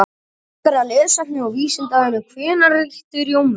Frekara lesefni á Vísindavefnum: Hvenær ríktu Rómverjar?